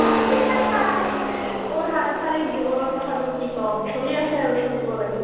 মোৰ সাংসাৰিক জীৱনৰ কথানো কি ক'ম চলি আছে আৰু চলিব লাগে